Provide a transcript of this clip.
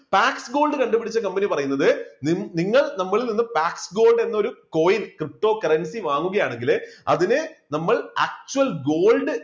backgold കണ്ടുപിടിച്ച കമ്പനി പറയുന്നത് നിങ്ങൾ നമ്മളിൽ നിന്ന് black gold എന്ന ഒരു coin cryptocurrency വാങ്ങുകയാണെങ്കില് അതിന് നമ്മൾ actual gold